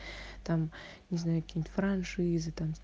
там не знаю каким франшиза там